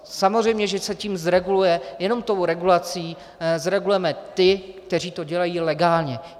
Samozřejmě že se tím zreguluje, jenom tou regulací zregulujeme ty, kteří to dělají legálně.